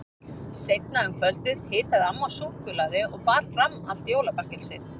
Seinna um kvöldið hitaði amma súkkulaði og bar fram allt jólabakkelsið.